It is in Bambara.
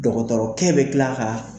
Dɔgɔtɔrɔkɛ be kila ka